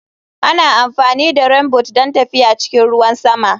Ana amfani da Rainboot don tafiya a cikin ruwan sama.